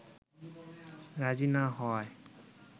রাজি না হওয়ায়